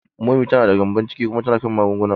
Momi ta da gyembon ciki kuma tana kan magunguna.